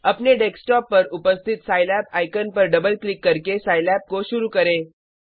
अपने डेस्कटॉप पर उपस्थित सिलाब आइकन पर डबल क्लिक करके साईलैब को शुरू करें